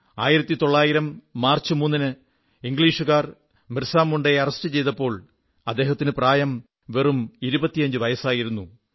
1900 March മൂന്നിന് ഇംഗ്ലീഷുകാർ ബിർസാ മുണ്ടയെ അറസ്റ്റു ചെയ്തപ്പോൾ അദ്ദേഹത്തിന് പ്രായം വെറും 25 വയസ്സായിരുന്നു എന്ന്